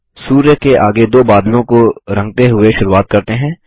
सूर्य के आगे दो बादलों को रंगते हुए शुरुवात करते हैं